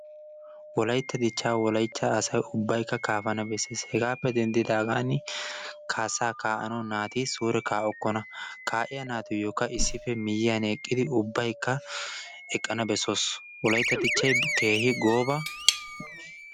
Wolaytta dicca Wolaytta asay ubbaykka kaafana beessees. Hegappe denddigaan kaassa kaa'anawu naati kaa'okkona. kaa'iyaa naatiyyokka issippe miyyiyaan eqqidi, ubbaykka eqqana beessoos. wolaytta Dichchay kehi gobaa